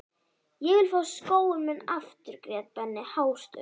Ég vil fá skóinn minn aftur grét Benni hástöfum.